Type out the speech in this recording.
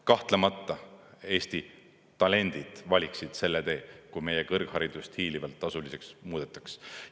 Kahtlemata, Eesti talendid valiksid selle tee, kui meie kõrgharidust hiilivalt tasuliseks ei muudetaks.